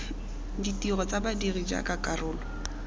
ditiro tsa badiri jaaka karolo